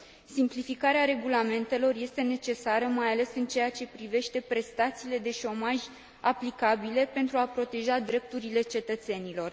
Simplificarea regulamentelor este necesară mai ales în ceea ce privește prestațiile de șomaj aplicabile pentru a proteja drepturile cetățenilor.